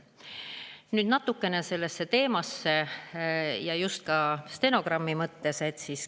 Nüüd natukene selle teema, just ka stenogrammi jaoks.